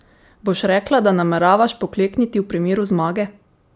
Boš rekla, da nameravaš poklekniti v primeru zmage?